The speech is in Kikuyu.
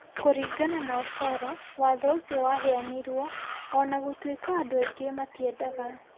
Kũringana na Osoro, watho ũcio waheanirwo o na gũtuĩka andũ aingĩ matiendaga.